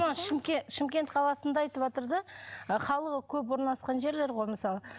шымкент қаласында айтыватыр да халқы көп орналасқан жерлер ғой мысалы